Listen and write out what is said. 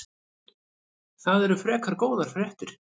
Það eru frekar góðar fréttir.